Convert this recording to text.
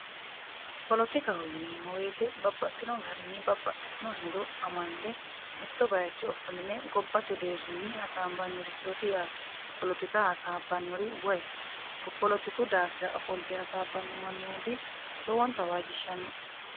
polotikaho yineemmo woyte babbaxxino garinni babbaxxitino hedo amande mitto bayicho ofoline gobbate deerrinni hasaambannirchooti yaate polotika hasaabbannori woy polotiku daafira ofolite hasaabbanno mannooti lowonta waajjishshannoe